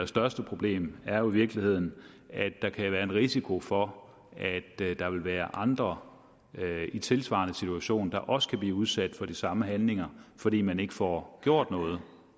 største problem er jo i virkeligheden at der kan være en risiko for at der der vil være andre i tilsvarende situationer der også kan blive udsat for de samme handlinger fordi man ikke får gjort noget